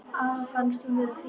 Afa fannst hún vera fín.